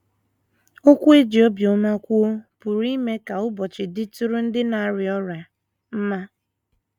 Okwu e ji obiọma kwuo pụrụ ime ka ụbọchị dịtụrụ ndị na - arịa ọrịa mma.